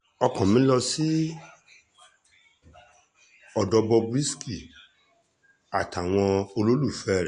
ọkàn mi lọ sọ́dọ̀ bob risky àtàwọn olólùfẹ́ rẹ̀